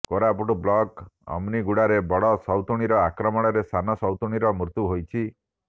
Koraput block ଅମିନିଗୁଡାରେ ବଡ଼ ସଉତୁଣୀର ଆକ୍ରମଣରେ ସାନ ସଉତୁଣୀର ମୃତ୍ୟୁ ହୋଇଛି